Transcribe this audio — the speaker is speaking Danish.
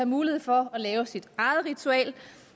mulighed for at lave sit eget ritual og